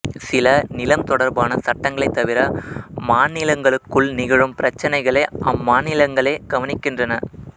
சில நிலம் தொடர்பான சட்டங்களைத் தவிர மாநிலங்களுக்குள் நிகழும் பிரச்சினைகளை அம்மாநிலங்களே கவனிக்கின்றன